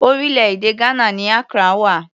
Orílẹ̀-èdè Ghana ni Accra wà.